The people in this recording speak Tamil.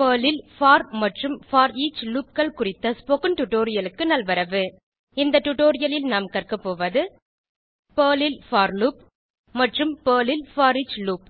பெர்ல் ல் போர் மற்றும் போரிச் Loopகள் குறித்த ஸ்போகன் டுடோரியலுக்கு நல்வரவு இந்த டுடோரியலில் நாம் கற்க போவது பெர்ல் ல் போர் லூப் மற்றும் பெர்ல் ல் போரிச் லூப்